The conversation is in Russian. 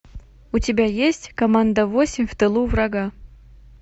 у тебя есть команда восемь в тылу врага